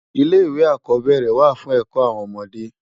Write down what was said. Ilé iwé ákòbèrè wá fún èkò áwòn òmòdé